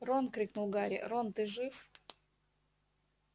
рон крикнул гарри рон ты жив